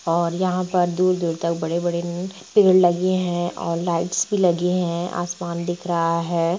और यहाँ पर दूर-दूर तक बड़े-बड़े न पेड़ लगे हैं और लाइट्स भी लगी है आसमान दिख रहा है।